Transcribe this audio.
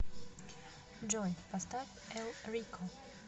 джой поставь эл рико